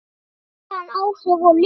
Hafði hann áhrif á leikinn?